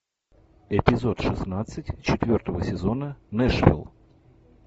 эпизод шестнадцать четвертого сезона нэшвилл